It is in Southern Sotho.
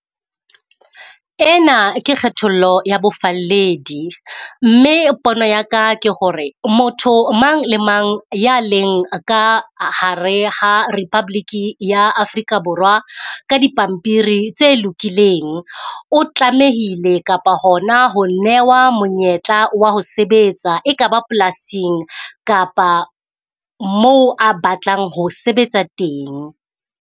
Ena ke kgethollo ya bofalledi, mme pono ya ka ke hore motho mang le mang ya leng ka hare ha Republic ya Afrika Borwa ka dipampiri tse lokileng. O tlamehile kapa hona ho newa monyetla wa ho sebetsa, ekaba polasing kapa moo a batlang ho sebetsa teng.